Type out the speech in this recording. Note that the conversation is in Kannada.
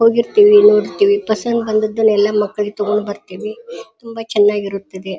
ಹೋಗಿರ್ತಿವಿ ನೋಡಿರ್ತೀವಿ ಪಸಂದ್ ಬಂದಿದಲಿ ಎಲ್ಲ ಮಕ್ಕಳಿಗ್ ತಗೊಂಡ್ ಬರ್ತೀವಿ ತುಂಬಾ ಚೆನ್ನಾಗಿ ಇರುತ್ತ್ತದೆ.